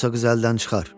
Yoxsa qız əldən çıxar.